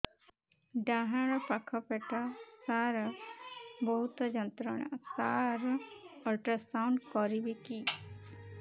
ଡାହାଣ ପାଖ ପେଟ ସାର ବହୁତ ଯନ୍ତ୍ରଣା ସାର ଅଲଟ୍ରାସାଉଣ୍ଡ କରିବି କି